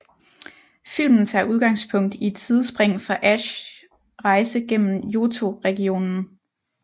Filmen tager udgangspunkt i et sidspring fra Ashs rejse gennem Johto regionen